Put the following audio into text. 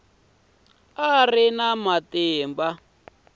a a ri na matimba